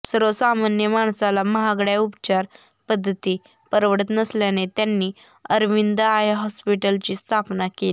सर्वसामान्य माणसाला महागड्या उपचार पद्धती परवडत नसल्याने त्यांनी अरविंद आय हॉस्पिटलची स्थापना केली